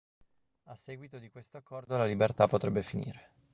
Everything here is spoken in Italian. a seguito di questo accordo la libertà potrebbe finire